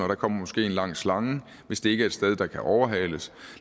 der kommer måske en lang slange hvis det ikke er et sted hvor der kan overhales